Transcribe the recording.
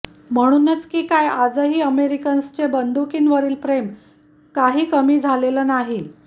म्हणूनच की काय आजही अमेरिकन्सचे बंदुकींवरील प्रेम काही कमी झालेलं नाही